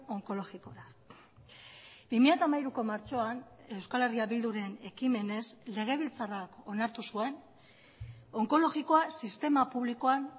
onkologikora bi mila hamairuko martxoan euskal herria bilduren ekimenez legebiltzarrak onartu zuen onkologikoa sistema publikoan